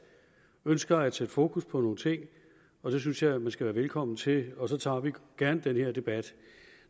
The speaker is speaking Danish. og ønsker at sætte fokus på nogle ting og det synes jeg man skal være velkommen til og så tager vi gerne den her debat